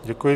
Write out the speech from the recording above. Děkuji.